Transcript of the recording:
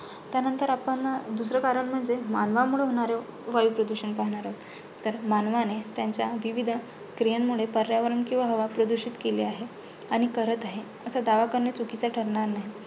त्यानंतर आपण दुसरं कारण म्हणजे मानवांमुळे होणारे वायू प्रदूषण पाहणार आहोत. तर मानवाने त्यांच्या विविध क्रीयेंमुळे पर्यावरण किंवा हवा प्रदूषित केली आहे, आणि करत आहे असा दावा करणे चुकीचं ठरणार नाही.